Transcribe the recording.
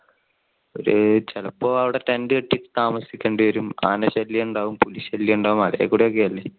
ചിലപ്പോ അവിടെ tent കെട്ടി താമസിക്കേണ്ട വരും, ആന ശല്യം ഉണ്ടാവും പുലി ശല്യം ഉണ്ടാവും മലയില്കൂടെ ഒക്കെ അല്ലെ.